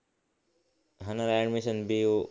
हाना अडमिशन